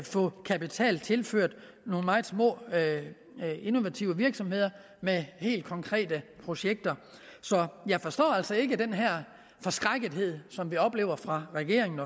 få kapital tilført nogle meget små innovative virksomheder med helt konkrete projekter så jeg forstår altså ikke den her forskrækkethed som vi oplever fra regeringens